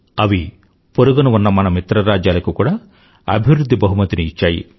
అవి పొరుగున ఉన్న మన మిత్రరాజ్యాలకు కూడా అభివృధ్ధి బహుమతిని ఇచ్చాయి